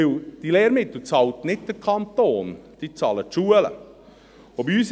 Denn diese Lehrmittel bezahlt nicht der Kanton, sondern die Schulen bezahlen sie.